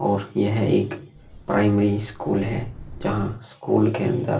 और यह एक प्राइमरी स्कूल है जहां स्कूल के अंदर --